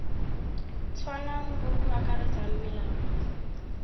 tshwanang bo bo akaretsang melao